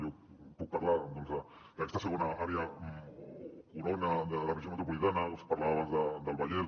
jo puc parlar d’aquesta segona àrea o corona de la regió metropolitana us parlava abans del vallès